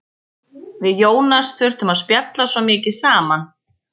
Við Jónas þurftum að spjalla svo mikið saman.